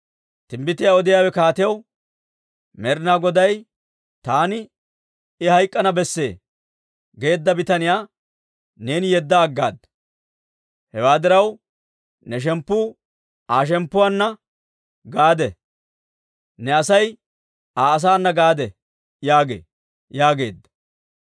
Timbbitiyaa odiyaawe kaatiyaw, «Med'inaa Goday, ‹Taani, «I hayk'k'ana besse» geedda bitaniyaa neeni yedda aggaada. Hewaa diraw, ne shemppu Aa shemppoo kota gidana; ne Asay Aa asaa kota gidana› yaagee» yaageedda.